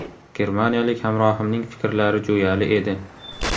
Germaniyalik hamrohimning fikrlari jo‘yali edi.